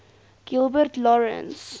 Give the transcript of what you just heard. gilbert lawrence